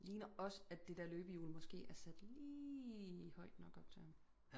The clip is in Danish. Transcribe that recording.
Det ligner også at det der løbehjul måske er sat lige højt nok op til ham